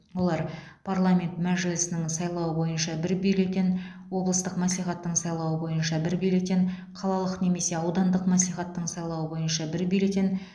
олар парламент мәжілісінің сайлауы бойынша бір бюллетен облыстық мәслихаттың сайлауы бойынша бір бюллетен қалалық немесе аудандық мәслихаттың сайлауы бойынша бір бюллетен